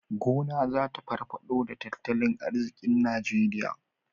Gona zata farfado da tattalin arzikin nigeria